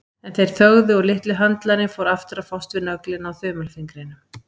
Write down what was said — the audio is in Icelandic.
En þeir þögðu og litli höndlarinn fór aftur að fást við nöglina á þumalfingrinum.